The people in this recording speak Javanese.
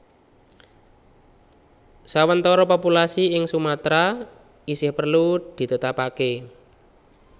Sawentara populasi ing Sumatra isih perlu ditetapake